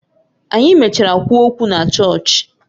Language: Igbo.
Anyị mechara kwuo okwu na chọọchị